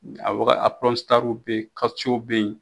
A waga a bɛ ye bɛ ye.